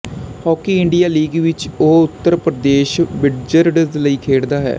hockey India league ਵਿਚ ਉਹ Uttar Pradesh wizards ਲਈ ਖੇਡਦਾ ਹੈ